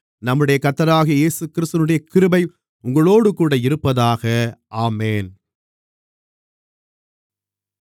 நம்முடைய கர்த்தராகிய இயேசுகிறிஸ்துவினுடைய கிருபை உங்களோடுகூட இருப்பதாக ஆமென்